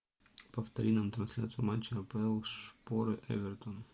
повтори нам трансляцию матча апл шпоры эвертон